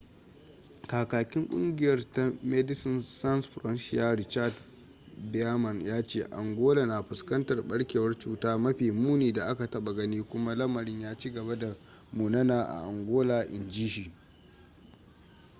kakakin kungiyar ta medecines sans frontiere richard veerman ya ce angola na fuskantar barkewar cutar mafi muni da aka taba gani kuma lamarin ya ci gaba da munana a angola in ji shi